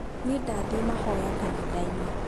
niĩ ndathiĩ mahoya kanitha-inĩ